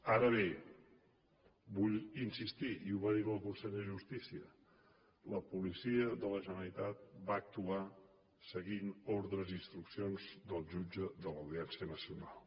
ara bé vull insistir i ho va dir la consellera de justícia la policia de la generalitat va actuar seguint ordres i instruccions del jutge de l’audiència nacional